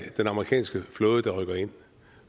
den amerikanske flåde der rykker ind